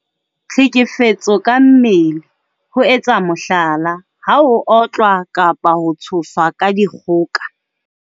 Tlhekefetso ka mmele- ho etsa mohlala, ha o otlwa kapa ho tshoswa ka dikgoka.